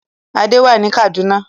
Adé wà ní Kaduna.